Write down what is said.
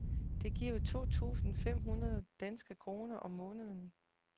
Det giver to tusinde fem hundrede danske kroner om måneden.